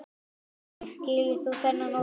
Sólveig: Skilur þú þennan ótta?